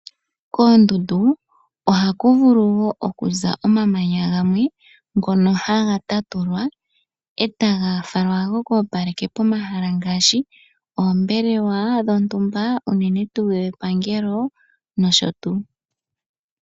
Koondundu ohaku vulu woo okuza omamanya gamwe ngono haga tatu lwa, e taga falwa gokoopaleke pomahala ngaashi oombelewa dhontumba unene tuu shepangelo nosho tuu.